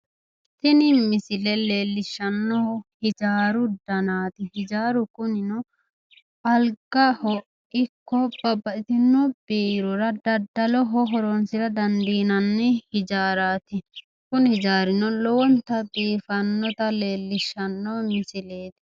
Tini misile leellishshannohu hijaaru danaati hijaaru kunino algaho ikko babbaxitino biirora daddaloho horonsira dandiinnani hijaaraati kuni hijaarino lowonta biifannota leellishshano misileeti.